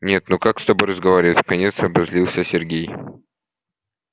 нет ну как с тобой разговаривать вконец обозлился сергей